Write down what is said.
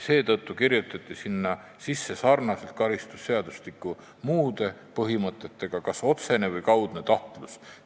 Seetõttu kirjutati teksti sarnaselt karistusseadustiku muude põhimõtetega kas otsene või kaudne tahtlus.